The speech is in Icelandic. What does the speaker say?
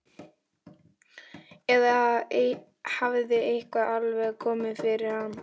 Eða hafði eitthvað alvarlegt komið fyrir hann?